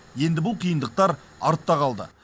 енді бұл қиындықтар артта қалды